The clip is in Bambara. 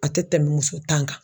A tɛ tɛmɛ muso ta kan